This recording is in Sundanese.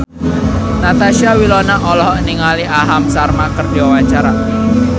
Natasha Wilona olohok ningali Aham Sharma keur diwawancara